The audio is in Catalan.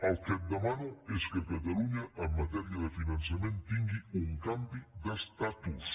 el que et demano és que catalunya en matèria de finançament tingui un canvi d’estatus